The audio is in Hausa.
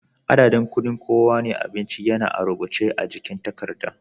Adadin kuɗin kowane abinci yana a rubuce a jikin takarda.